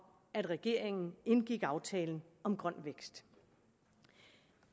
at regeringen indgik aftalen om grøn vækst